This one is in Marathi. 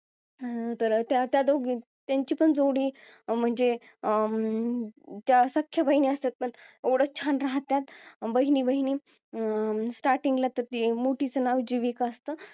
अं तर त्या दोघी त्यांची पण जोडी म्हणजे अं त्या सख्ख्या बहिणी असतात पण एवढं छान राहत्यात बहिणी बहिणी अं starting ला तर मोठीचं नाव जीविका असतं